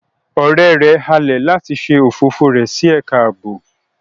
Ọrẹ rẹ halẹ lati ṣe ofofo rẹ si ẹka aabo